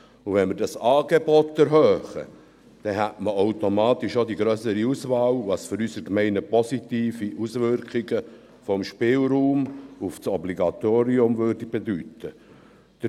Und wenn wir das Angebot erhöhen, dann hätte man automatisch auch eine grössere Auswahl, was für unsere Gemeinden positive Auswirkungen des Spielraums auf das Obligatorium bedeuten würde.